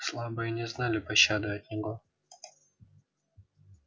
слабые не знали пощады от него